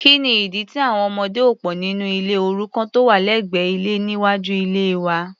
kíni ìdí tí àwọn ọmọdé ò pò nínú ilé òrukàn tó wà lẹ́gbẹ́ ilé níwájú ilée wa?